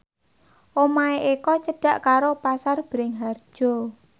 omahe Eko cedhak karo Pasar Bringharjo